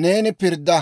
neeni pirdda.